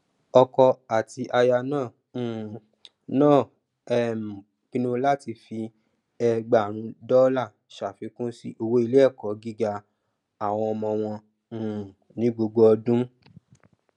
ọkọ àti aya náà um náà um pinnu láti fi ẹgbàárún dọlà ṣàfikún sí owó iléẹkọ gíga àwọn ọmọ wọn um ní gbogbo ọdún